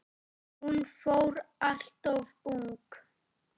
Hún fór alltof ung.